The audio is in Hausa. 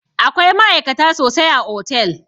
Akwai ma'aikata sosai a otel